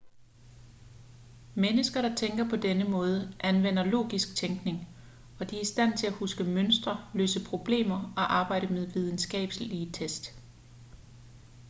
mennesker der tænker på denne måde anvender logisk tænkning og de er i stand til at huske mønstre løse problemer og arbejde med videnskabelige tests